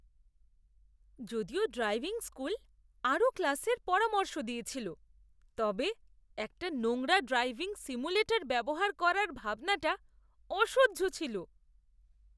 যদিও driving school আরও ক্লাসের পরামর্শ দিয়েছিল, তবে একটা নোংরা ড্রাইভিং সিমুলেটর ব্যবহার করার ভাবনাটা অসহ্য ছিল।